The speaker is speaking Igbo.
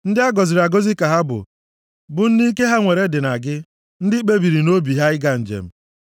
Ndị a gọziri agọzi ka ha bụ, bụ ndị ike ha nwere dị na gị, ndị kpebiri nʼobi ha ịga njem.